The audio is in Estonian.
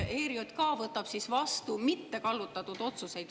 … et see ERJK võtab vastu mittekallutatud otsuseid.